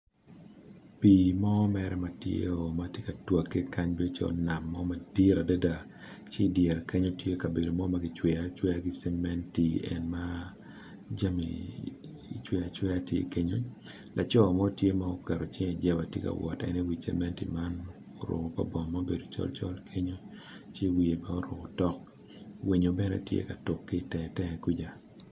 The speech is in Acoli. Pii ma tye ka twagge bedo calo nam mo madit adada ci i kabedo mo tye ma kigedo ki cementi laco mo tye ma oketo cinge i jeba tye ka woto i gin ma kicweyo oruko kor bongo macol winyo tye ka tuk i wiye